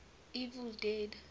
evil dead